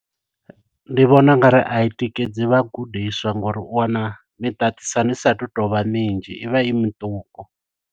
Ndi vhona ungari a i tikedzi vha gudiswa, ngo uri u wana miṱaṱisano i sa tu tovha minzhi. I vha i miṱuku.